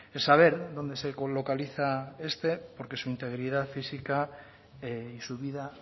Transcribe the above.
es saber dónde se coloca liza este porque su integridad física y su vida